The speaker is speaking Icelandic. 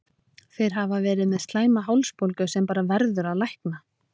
Þeir hafa verið með slæma hálsbólgu sem bara verður að lækna.